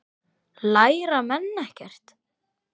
Læra menn ekkert?